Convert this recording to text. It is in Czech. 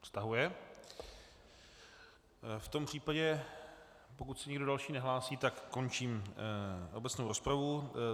V tom případě, pokud se nikdo další nehlásí, tak končím obecnou rozpravu.